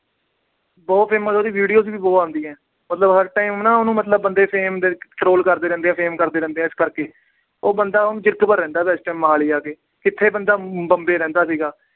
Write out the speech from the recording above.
ਬਹੁਤ famous ਆ। ਉਹਦੀ videos ਵੀ ਬਹੁਤ ਆਉਂਦੀਆਂ। ਮਤਲਬ ਹਰ time ਉਹਨੂੰ ਬੰਦੇ fame ਦੇ ਵਿੱਚ troll ਕਰਦੇ ਰਹਿੰਦੇ ਆ fame ਕਰਦੇ ਰਹਿੰਦੇ ਆ। ਉਹ ਬੰਦਾ ਹੁਣ ਜੀਰਕਪੁਰ ਰਹਿੰਦਾ, ਇਸ time ਮੋਹਾਲੀ ਜਾ ਕੇ। ਕਿੱਥੇ ਬੰਦਾ ਬੰਬੇ ਰਹਿੰਦਾ ਸੀ।